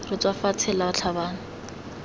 re tswa fatshe la tlhabane